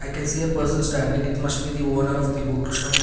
I can see a person standing it must be the owner of the book shop.